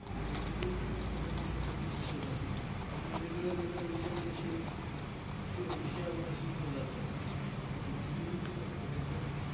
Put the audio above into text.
पण श्रीमंत कसं व्हायचं, हे कधी शिकवलं जात नाही. आपल्याला वेगळ्या वेगळ्या विषयामध्ये शीम शी विषया शिकवलं जातं. पण श्रीमंत कसं व्हायचं